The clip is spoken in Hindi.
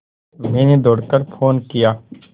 मैंने दौड़ कर फ़ोन किया